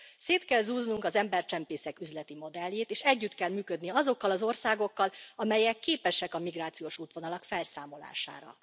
Szét kell zúznunk az embercsempészek üzleti modelljét, és együtt kell működni azokkal az országokkal, amelyek képesek a migrációs útvonalak felszámolására.